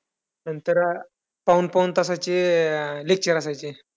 नंतर पाऊण पाऊण तासाचे अं lecture असायचे.